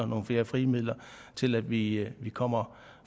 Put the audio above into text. nogle flere frie midler til at vi at vi kommer